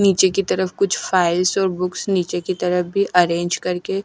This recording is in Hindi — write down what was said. नीचे की तरफ कुछ फाइल्स और बुक्स नीचे की तरफ भी अरेंज करके--